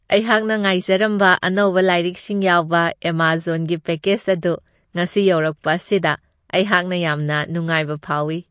ꯑꯩꯍꯥꯛꯅ ꯉꯥꯏꯖꯔꯝꯕ ꯑꯅꯧꯕ ꯂꯥꯏꯔꯤꯛꯁꯤꯡ ꯌꯥꯎꯕ ꯑꯦꯃꯖꯣꯟꯒꯤ ꯄꯦꯀꯦꯖ ꯑꯗꯨ ꯉꯁꯤ ꯌꯧꯔꯛꯄ ꯑꯁꯤꯗ ꯑꯩꯍꯥꯛꯅ ꯌꯥꯝꯅ ꯅꯨꯡꯉꯥꯏꯕ ꯐꯥꯎꯋꯤ ꯫